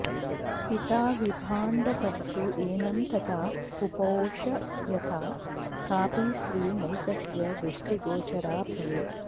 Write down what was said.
पिता विभाण्डकस्तु एनं तथा पुपोष यथा कापि स्त्री नैतस्य दृष्टिगोचरा भवेत्